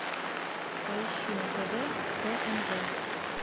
поищи на тв тнв